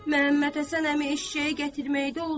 Məmmədhəsən əmi eşşəyi gətirməyidə olsun.